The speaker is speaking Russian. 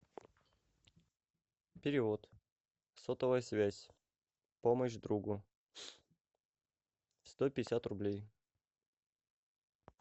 перевод сотовая связь помощь другу сто пятьдесят рублей